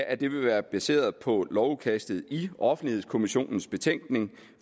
at det vil være baseret på lovudkastet i offentlighedskommissionens betænkning